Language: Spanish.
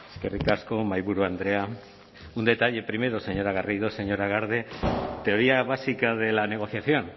eskerrik asko mahaiburu andrea un detalle primero señora garrido señora garde teoría básica de la negociación